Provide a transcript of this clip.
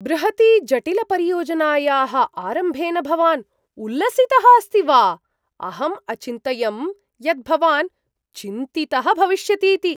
बृहतीजटिलपरियोजनायाः आरम्भेन भवान् उल्लसितः अस्ति वा? अहम् अचिन्तयं यत् भवान् चिन्तितः भविष्यतीति।